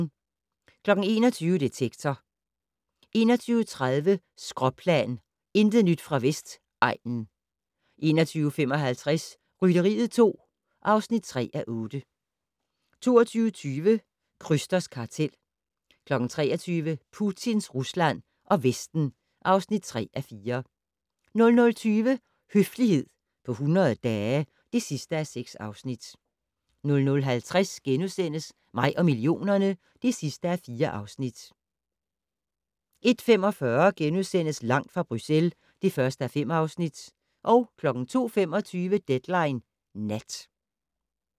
21:00: Detektor 21:30: Skråplan - intet nyt fra Vestegnen 21:55: Rytteriet 2 (3:8) 22:20: Krysters kartel 23:00: Putins Rusland og Vesten (3:4) 00:20: Høflighed på 100 dage (6:6) 00:50: Mig og millionerne (4:4)* 01:45: Langt fra Bruxelles (1:5)* 02:25: Deadline Nat